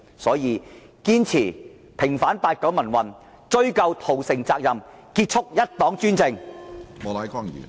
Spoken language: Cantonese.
因此，堅持平反八九民運，追究屠城責任，結束一黨專政。